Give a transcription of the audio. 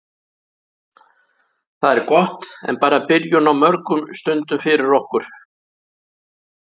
Það er gott en bara byrjun á mörgum stundum fyrir okkur.